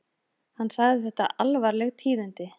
Hann sagði þetta alvarleg tíðindi